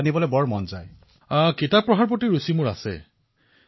প্ৰধানমন্ত্ৰীঃ কিতাপ পঢ়াৰ মোৰ ৰুচি আছিল অৱশ্যে